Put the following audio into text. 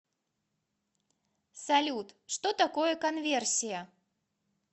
салют что такое конверсия